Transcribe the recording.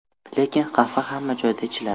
Lekin qahva hamma joyda ichiladi.